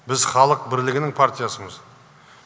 біз халық бірлігінің партиясымыз